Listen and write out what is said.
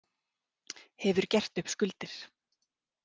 Hefur gert upp skuldir